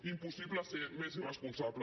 impossible ser més irresponsable